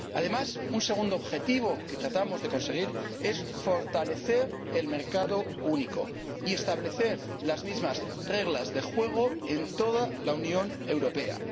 Además, un segundo objetivo que tratamos de conseguir es fortalecer el mercado único y establecer las mismas reglas de juego en toda la Unión Europea.